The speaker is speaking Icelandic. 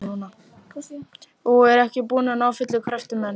Og er ekki búin að ná fullum kröftum enn.